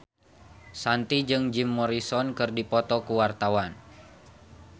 Shanti jeung Jim Morrison keur dipoto ku wartawan